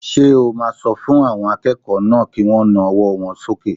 Ṣé o máa sọ fún àwọn akẹ́kọ̀ọ́ náà kí wọ́n na ọwọ́ wọn sókè?